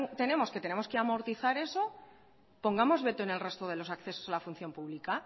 tenemos que tenemos amortizar eso pongamos veto en el resto de los accesos a la función pública